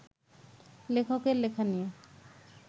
লেখককে লেখা নিয়ে